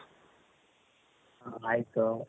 ಆಯ್ತು?